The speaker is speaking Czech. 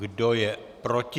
Kdo je proti?